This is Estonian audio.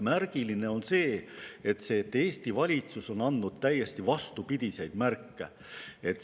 Märgiline on see, et Eesti valitsus on andnud täiesti vastupidiseid märke.